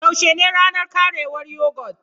Yaushe ne ranar ƙarewar yogurt?